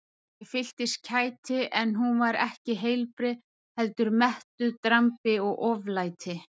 Ég fylltist kæti en hún var ekki heilbrigð heldur mettuð drambi og oflæti.